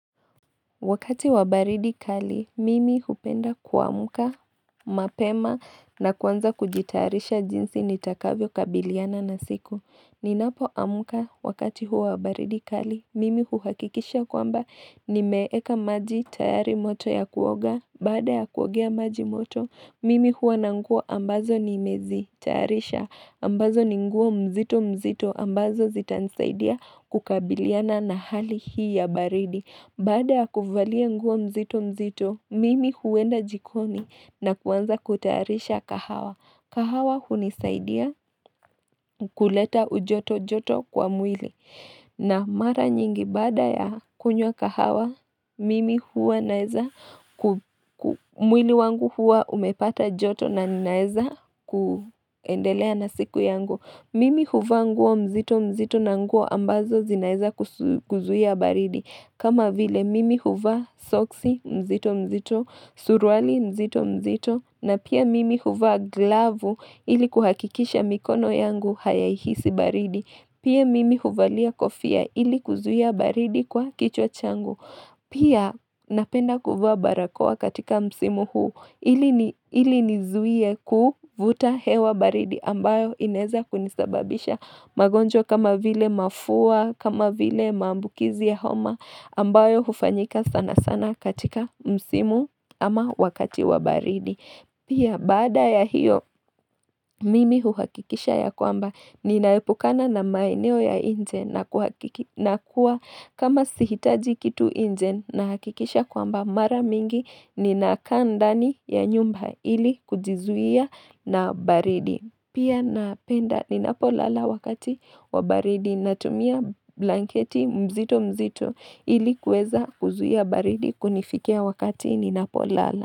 Wakati wa baridi kali, mimi hupenda kuamka mapema na kuanza kujitayarisha jinsi nitakavyokabiliana na siku. Ninapoamka wakati huo wa baridi kali, mimi huhakikisha kwamba nimeeka maji tayari moto ya kuoga. Baada ya kuogea maji moto, mimi huwa na nguo ambazo nimezitayarisha ambazo ni nguo mzito mzito, ambazo zitanisaidia kukabiliana na hali hii ya baridi Baada ya kuvalia nguo mzito mzito, mimi huenda jikoni na kuanza kutayarisha kahawa. Kahawa hunisaidia kuleta ujoto joto kwa mwili. Na mara nyingi baada ya kunywa kahawa, mimi huwa naeza, mwili wangu huwa umepata joto na ninaeza kuendelea na siku yangu. Mimi huvaa nguo mzito mzito na nguo ambazo zinaeza kuzuia baridi. Kama vile mimi huvaa soksi mzito mzito, suruali mzito mzito, na pia mimi huva glavu ili kuhakikisha mikono yangu hayahisi baridi. Pia mimi huvalia kofia ili kuzuia baridi kwa kichwa changu. Pia napenda kuvaa barakoa katika msimu huu ili nizuie kuvuta hewa baridi ambayo inaeza kunisababisha magonjwa kama vile mafua, kama vile maambukizi ya homa ambayo hufanyika sana sana katika msimu ama wakati wa baridi. Pia baada ya hiyo mimi huhakikisha ya kwamba ninaepukana na maeneo ya nje na kuwa kama sihitaji kitu nje nahakikisha kwamba mara mingi ninakaa ndani ya nyumba ili kujizuia na baridi. Pia napenda ninapolala wakati wa baridi natumia blanketi mzito mzito ili kuweza kuzuia baridi kunifikia wakati ninapolala.